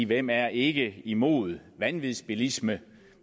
hvem er ikke imod vanvidsbilisme